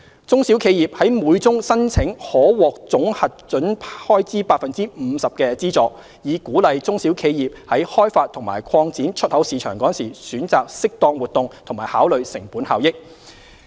中小企業在每宗申請可獲總核准開支 50% 的資助，以鼓勵中小企業於開發及擴展出口市場時選擇適當活動及考慮成本效益。